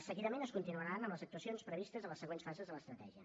seguidament es continuarà amb les actuacions previstes a les següents fases de l’estratègia